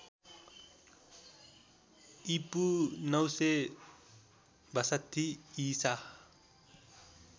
ईपू ९६२ ईसा